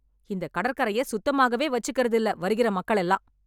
இந்த கடற்கரையை சுத்தமாகவே வச்சிக்கிறது இல்ல வருகிற மக்கள் எல்லாம்.